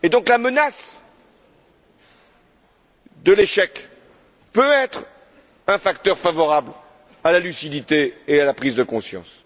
La menace de l'échec peut être un facteur favorable à la lucidité et à la prise de conscience.